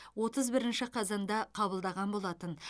отыз бірінші қазанда қабылдаған болатын